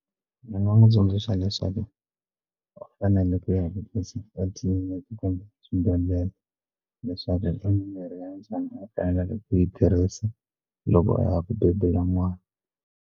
Ndzi nga n'wi tsundzuxa leswaku u fanele ku ya hi ku swibedhlele leswaku mirhi ya njhani u fanekele ku yi tirhisa loko a ya ku bebula n'wana.